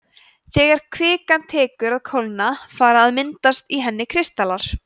þegar kvikan tekur að kólna fara að myndast í henni kristallar